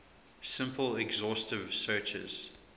simple exhaustive searches